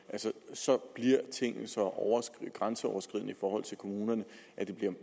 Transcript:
så bliver tingene så grænseoverskridende for kommunerne at det